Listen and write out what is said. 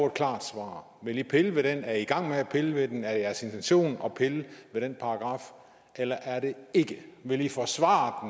et klart svar vil i pille ved den er i i gang med at pille ved den er det jeres intention at pille ved den paragraf eller er det ikke vil i forsvare